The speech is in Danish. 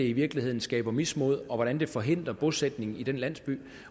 i virkeligheden skaber mismod og hvordan det forhindrer bosætning i den landsby